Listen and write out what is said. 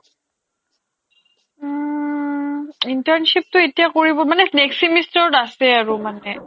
অ', internship তো এতিয়া কৰিব মানে next semester ত আছে আৰু মানে